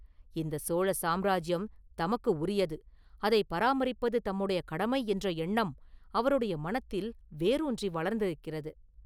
இந்தச் சோழ சாம்ராஜ்யம் தமக்கு உரியது, அதைப் பராமரிப்பது தம்முடைய கடமை என்ற எண்ணம் அவருடைய மனத்தில் வேரூன்றி வளர்ந்திருக்கிறது.